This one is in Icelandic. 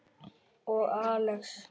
Og Axel.